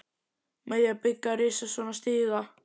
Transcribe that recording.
Með því að byggja risastóran stiga?